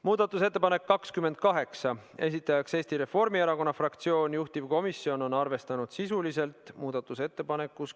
Muudatusettepanek nr 28, esitajaks on Eesti Reformierakonna fraktsioon, juhtivkomisjon on arvestanud seda sisuliselt .